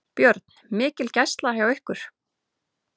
Björn: Mikil gæsla hjá ykkur?